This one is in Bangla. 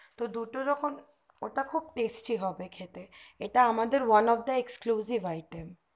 তো দুটোই রকম ওটা খুব testy খেতে হবে এটা আমাদের one of the excuge bariter